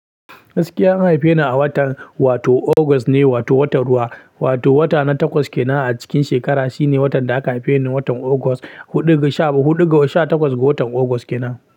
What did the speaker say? Gaskiyavan haife ni a watan, wato August ne, wato watan ruwa, wato wata na takwas kenan a cikin shekara. Shine watan da aka haife ni, watan August, huɗu ga sha- huɗu ga sha takwas ga watan August kenan.